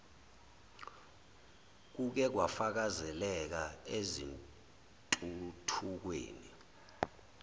kuke kwafakazeleka ezintuthukweni